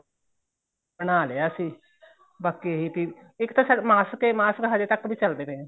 ਬਣਾਲਿਆ ਅਸੀਂ ਬਾਕੀ ਇੱਕ ਤਾਂ mask ਏ mask ਤਾਂ ਅਜੇ ਤੱਕ ਵੀ ਚੱਲਦੇ ਪਏ ਨੇ